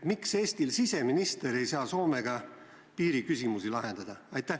Miks Eesti siseminister ei saa Soomega piiriküsimusi lahendada?